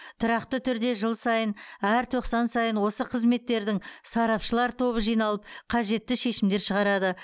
тұрақты түрде жыл сайын әр тоқсан сайын осы қызметтердің сарапшылар тобы жиналып қажетті шешімдер шығарады